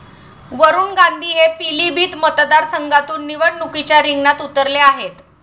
वरुण गांधी हे पिलीभीत मतदारसंघातून निवडणुकीच्या रिंगणात उतरले आहेत.